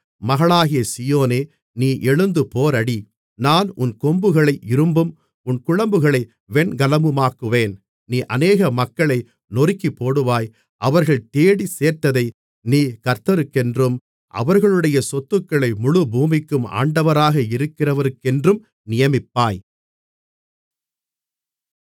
மகளாகிய சீயோனே நீ எழுந்து போரடி நான் உன் கொம்புகளை இரும்பும் உன் குளம்புகளை வெண்கலமுமாக்குவேன் நீ அநேக மக்களை நொறுக்கிப்போடுவாய் அவர்கள் தேடிச் சேர்த்ததை நீ கர்த்தருக்கென்றும் அவர்களுடைய சொத்துக்களை முழு பூமிக்கும் ஆண்டவராக இருக்கிறவருக்கென்றும் நியமிப்பாய்